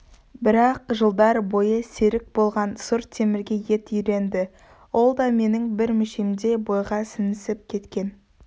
бірақ жылдар бойы серік болған сұр темірге ет үйренді ол да менің бір мүшемдей бойға сіңісіп кеткен